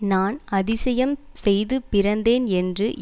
நான் ஆதிசியம் செய்து பிறந்தேன் என்று